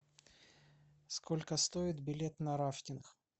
сколько стоит билет на рафтинг